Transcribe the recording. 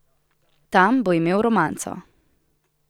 Tam bo imel romanco.